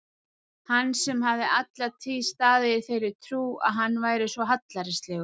Hann sem hafði alla tíð staðið í þeirri trú að hann væri svo hallærislegur!